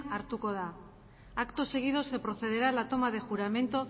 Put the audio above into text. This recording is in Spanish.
hartuko da acto seguido se procederá a la toma de juramento